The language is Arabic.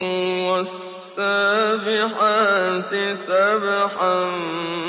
وَالسَّابِحَاتِ سَبْحًا